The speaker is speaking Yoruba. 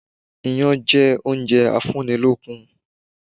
Iyán jẹ́ oúnjẹ a fún ni lókun